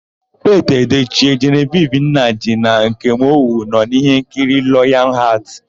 Piti Edoche, Jenevivi Nnaji na Nkem Owo nọ n'íhénkiri Layọn Hatị.